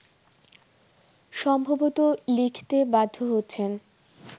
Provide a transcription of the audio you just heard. সম্ভবত লিখতে বাধ্য হচ্ছেন